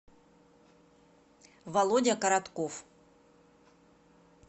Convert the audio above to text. володя коротков